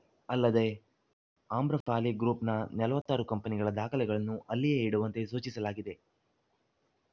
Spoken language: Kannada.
ಅಲ್ಲದೆ ಆಮ್ರಪಾಲಿ ಗ್ರೂಪ್‌ನ ನಲವತ್ತ್ ಆರು ಕಂಪನಿಗಳ ದಾಖಲೆಗಳನ್ನು ಅಲ್ಲಿಯೇ ಇಡುವಂತೆ ಸೂಚಿಸಲಾಗಿದೆ